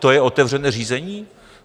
To je otevřené řízení?